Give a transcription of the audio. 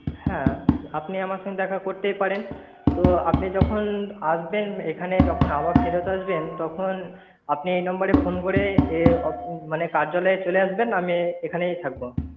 হ্যাঁ, আপনি আমার সঙ্গে দেখা করতেই পারেন। তো আপনি যখন আসবেন এখানে। যখন আবার ফেরত আসবেন, তখন আপনি এই number রে phone করে মানে কার্যালয়ে চলে আসবেন আমি এখানেই থাকবো।